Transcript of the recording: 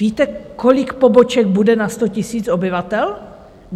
Víte, kolik poboček bude na 100 000 obyvatel?